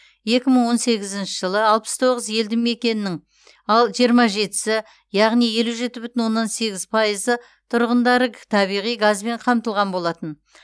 екі мың он сегізінші жылы алпыс тоғыз елді мекеннің ал жиырма жетісі яғни елу жеті бүтін оннан сегіз пайызы тұрғындары табиғи газбен қамтылған болатын